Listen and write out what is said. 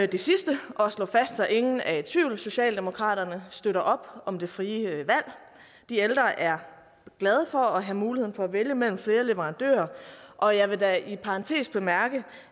det sidste og slå fast så ingen er i tvivl at socialdemokratiet støtter op om det frie valg de ældre er glade for at have muligheden for at vælge mellem flere leverandører og jeg vil da i parentes bemærke